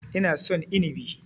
Ina son Inibi.